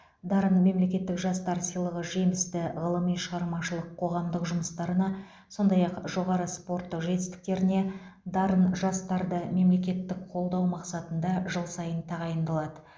дарын мемлекеттік жастар сыйлығы жемісті ғылыми шығармашылық қоғамдық жұмыстарына сондай ақ жоғары спорттық жетістіктеріне дарын жастарды мемлекеттік қолдау мақсатында жыл сайын тағайындалады